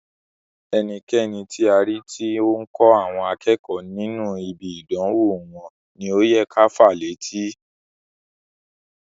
Ẹnikẹni ti a ri ti o n kọ àwọn akẹ́kọ̀ọ́ nínú ibi idanwo wọn ni o yẹ ká fàá létí.